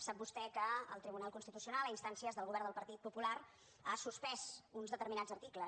sap vostè que el tribunal constitucional a instàncies del govern del partit popular ha suspès uns determinats articles